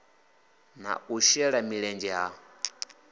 na u shela mulenzhe ha